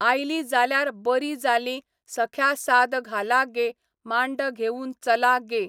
आयली जाल्यार बरी जाली सख्या साद घाला गे मांड घेवून चला गे.